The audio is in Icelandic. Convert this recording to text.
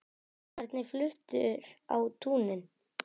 Hvernig fluttur á túnin?